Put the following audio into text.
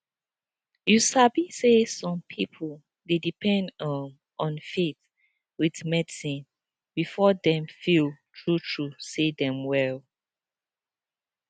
you sabi say some pipo dey depend um on faith with medicine before dem feel true true say dem well